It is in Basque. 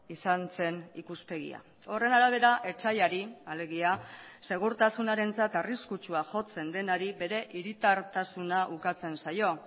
izan zen ikuspegia horren arabera etsaiari alegia segurtasunarentzat arriskutsua jotzen denari bere hiritartasuna ukatzen zaio